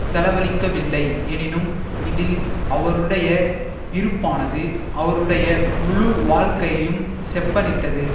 செலவளிக்கவில்லை எனினும் இதில் அவருடைய இருப்பானது அவருடைய முழு வாழ்க்கையையும் செப்பனிட்டது